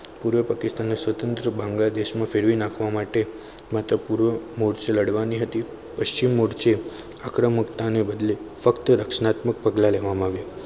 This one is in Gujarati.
પૂર્વ પાકિસ્તાનને બાંગ્લાદેશમાં ફેરવી નાખવા માટે માથાપૂર્વક લડવાની હતી પશ્ચિમ મોરચે આક્રમકતા ની ફક્ત રચનાત્મક પગલાં લેવામાં આવ્યા.